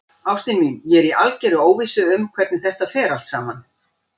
Ástin mín, ég er í algerri óvissu um hvernig þetta fer allt saman.